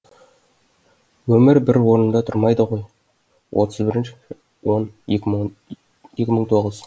өмір бір орнында тұрмайды ғой отыз бірінші он екі мың тоғыз